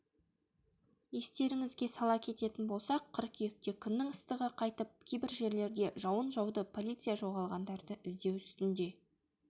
естеріңізге сала кететін болсақ қыркүйекте күннің ыстығы қайтып кейбір жерлерде жауын жауды полиция жоғалғандарды іздеу үстінде